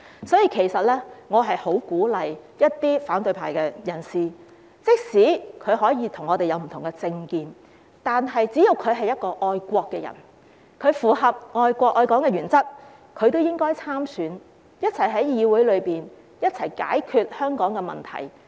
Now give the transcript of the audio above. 所以，我十分鼓勵一些反對派人士參選，即使我們彼此有不同政見，但只要他們是愛國人士，符合愛國愛港的原則，也應該參選，共同在議會內解決香港的問題。